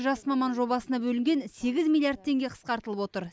жас маман жобасына бөлінген сегіз миллиард теңге қысқартылып отыр